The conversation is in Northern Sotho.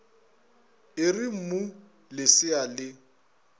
e re mmu lesea le